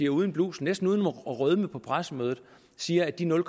uden blusel næsten uden at rødme på pressemødet siger at de nul